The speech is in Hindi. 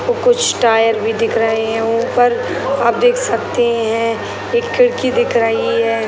कुछ टायर भी दिख रहे हैं ऊपर आप देख सकते हैं एक खिड़की दिख रही है।